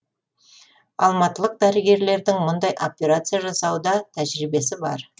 алматылық дәрігерлердің мұндай операция жасауда тәжірибесі бар